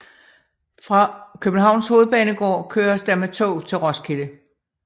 Fra Københavns Hovedbanegård køres der med tog til Roskilde